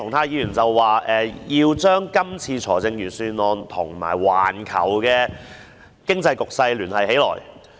鄭議員表示，要將這份預算案跟環球經濟局勢聯繫起來。